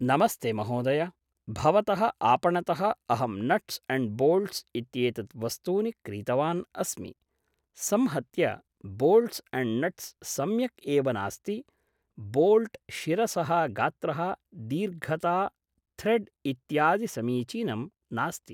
नमस्ते महोदय भवतः आपणतः अहं नट्स् अण्ड् बोल्ट्स् इत्येतत् वस्तूनि क्रीतवान् अस्मि संहत्य बोल्ट्स् अण्ड् नट्स् सम्यक् एव नास्ति बोल्ट् शिरसः गात्रः दीर्घता थ्रेड् इत्यादि समीचिनं नास्ति